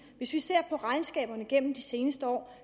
hvis vi ser på regnskaberne gennem de seneste år